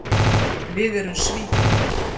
Við erum Svíþjóð.